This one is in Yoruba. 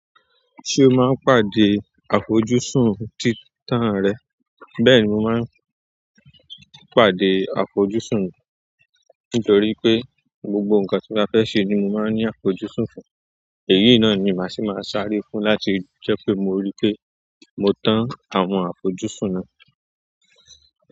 Ṣé o máa ń pàdé àfojúsùn títan rẹ? Bẹ́ẹ̀ni mo máa ń pàdé àfojúsùn mi nítorí pé gbogbo ǹkan tí mo ba fẹ́ ṣe ni mo máa ń ní àfojúsùn fún, èyí náà ni màá ṣì máa sáré fún láti jẹ́ pé mo rí pé mo tán àwọn àfojúsùn náà.